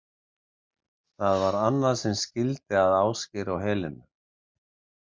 Það var annað sem skildi að Ásgeir og Helenu.